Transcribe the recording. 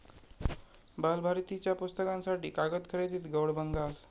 बालभारतीच्या पुस्तकांसाठी कागद खरेदीत गौडबंगाल